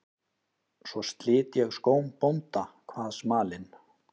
Svo slit ég skóm bónda, kvað smalinn.